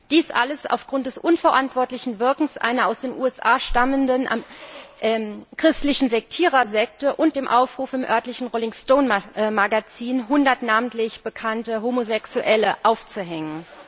Dies alles aufgrund des unverantwortlichen Wirkens einer aus den USA stammenden christlichen Sekte und dem Aufruf im örtlichen Rolling Stone Magazin, hundert namentlich bekannte Homosexuelle aufzuhängen.